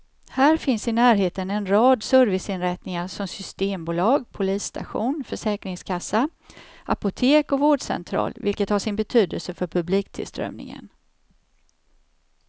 Här finns i närheten en rad serviceinrättningar som systembolag, polisstation, försäkringskassa, apotek och vårdcentral, vilket har sin betydelse för publiktillströmningen.